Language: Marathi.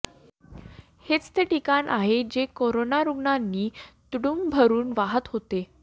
हेच ते ठिकाण आहे जे करोना रुग्णांनी तुडूंब भरुन वाहत होतं